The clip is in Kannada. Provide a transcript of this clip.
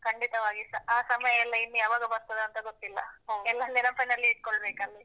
ಖಂಡಿತವಾಗಿಸ. ಆ ಸಮಯ ಇನ್ನು ಯಾವಾಗ ಬರ್ತದೋ ಅಂತ ಗೊತ್ತಿಲ್ಲ. ಎಲ್ಲ ನೆನಪಿನಲ್ಲಿ ಇಟ್ಕೊಳ್ಬೇಕಲ್ಲಿ.